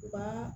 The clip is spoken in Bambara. U ka